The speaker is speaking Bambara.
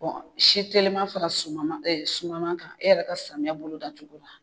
si telima fara sumama e sumaman kan e yɛrɛ ka samiya bolo da cogo la.